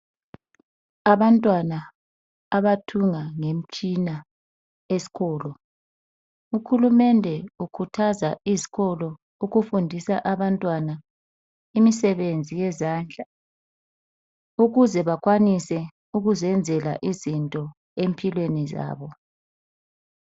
Abantwana abathunga ngemitshina esikolo. Uhulumende ukhuthaza izikolo ukufundisa abantwana imisebenzi yezandla ukuze bakwanise ukuzenzela izinto empilweni zabo.